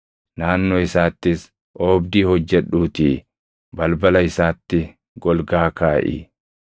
Naannoo isaattis oobdii hojjedhuutii balbala isaatti golgaa kaaʼi.